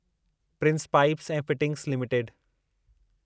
Prince Pipes ऐं Fittings limited